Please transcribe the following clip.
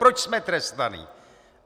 Proč jsme trestáni?